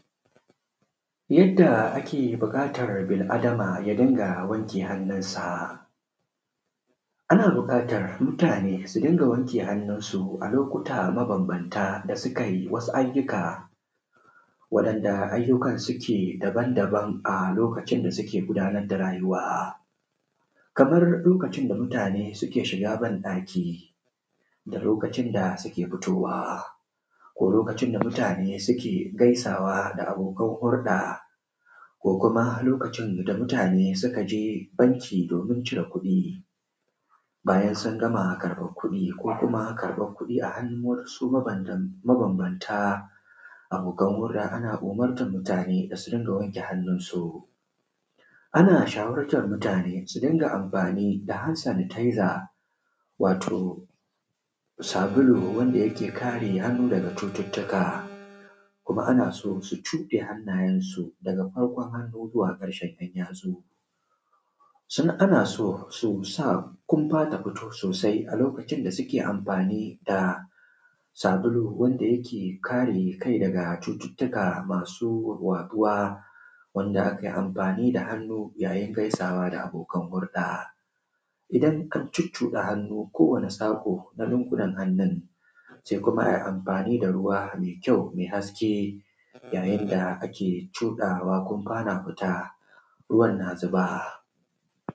Yanda ake buƙatar bil’adama ya dinga wanke hannunsa, ana buƙatan mutane su dina wanke hannunsu a lokuta mabambanta da sukai, waɗanda ayyukan suke dabanbanta. A lokutan da suke gundarwa da rayuwa kamar lokutan da mutane suke shiga banɗaki, da lokutan da suke fitowa ko lokutan da mutane suke gaisawa da abokan hurɗa ko kuma lokutan da mutane suke jeji bacci domin cakuɗi bayan sun gama karɓan kuɗi ko kuma karɓani kuɗi a hannun wasu mabambanta abokan hurɗa. Ana umurtan mutane da su dinga wanke hannunsu, ana shawartan mutane su dinga amafani da hansanitaiza, wato sabulun da yake kare hannu daga cututtuka kuma a so ana so su cuɗe hanneyensu daga farko hannu ta ƙarƙen ‘yanyatsunsu. Su ana so su sa kunfa ta fito sosai, lokutan da suke amfani da sabulu wanda yake kai daga cututtuka masu wadewa, wanda ke amfani da hannu yayin da gaisawa da abokan hurɗa. Idan ka cuɗuɗa hannu ko wani saƙo na lungunan hannun, se kuma a yi amfani da ruwa mai kyau, mai haske yayin da ake cuɗawa kunfa na fita ruwan na zuba.